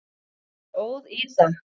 Bara óð í það.